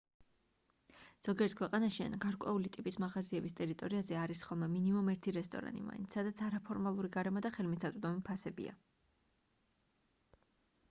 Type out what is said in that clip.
ზოგიერთ ქვეყანაში ან გარკვეული ტიპის მაღაზიების ტერიტორიაზე არის ხოლმე მინიმუმ ერთი რესტორანი მაინც სადაც არაფორმალური გარემო და ხელმისაწვდომი ფასებია